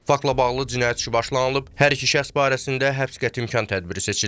Faktla bağlı cinayət işi başlanılıb, hər iki şəxs barəsində həbs qəti imkan tədbiri seçilib.